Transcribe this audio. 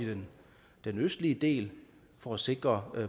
den østlige del for at sikre